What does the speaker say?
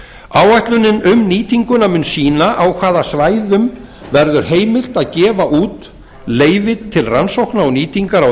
áætlunin um nýtinguna mun sýna á hvaða svæðum verður heimilt að gefa út leyfi til rannsókna og nýtingar á